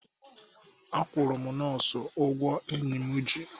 Akwụrụ m nọọsụ ụgwọ ụgwọ enyi m ji